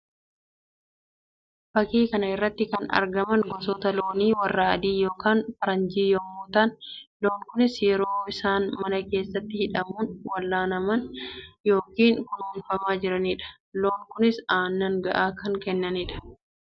Fakkii kana irratti kan argaman gosoota loonii warra adii yookiin faranjii yammuu ta'an; loon kunis yeroo isaan mana keessatti hidhamuun wallaanamaa yookiin kunuunfamaa jiranii dha. Loon kunis aannan ga'aa kan kennanii dha.